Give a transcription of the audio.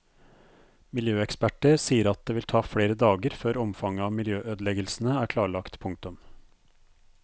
Miljøeksperter sier at det vil ta flere dager før omfanget av miljøødeleggelsene er klarlagt. punktum